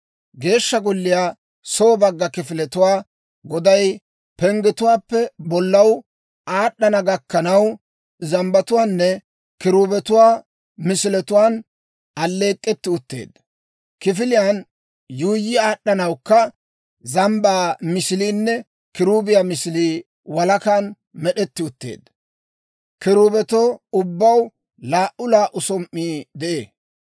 Geeshsha golliyaw soo bagga kifiletuwaa goday penggetuwaappe bollaw aad'd'ana gakkanaw, zambbatuwaanne kiruubetuwaa misiletuwaan alleek'k'etti utteedda; kifiliyaan yuuyyi aad'd'anawukka zambbaa misiliinne kiruubiyaa misilii walakan med'etti utteedda. Kiruubetoo ubbaw laa"u laa"u som"ii de'ee.